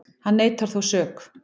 Hann neitar þó sök